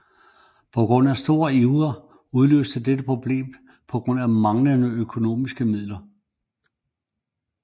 På trods af stor iver udløste dette problemer på grund af manglende økonomiske midler